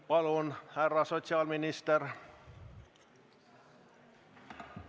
Palun, härra sotsiaalminister!